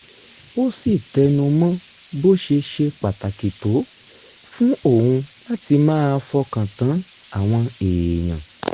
ó sì tẹnu mọ́ bó ṣe ṣe pàtàkì tó fún òun láti máa fọkàn tán àwọn èèyàn